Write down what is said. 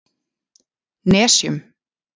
Nesjum